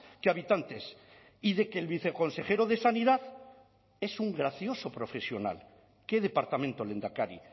que habitantes y de que el viceconsejero de sanidad es un gracioso profesional qué departamento lehendakari